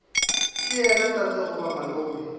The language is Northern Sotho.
ke yena tate goba malome